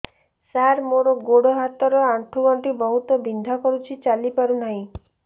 ସାର ମୋର ଗୋଡ ହାତ ର ଆଣ୍ଠୁ ଗଣ୍ଠି ବହୁତ ବିନ୍ଧା କରୁଛି ଚାଲି ପାରୁନାହିଁ